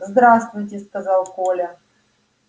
здравствуйте сказал коля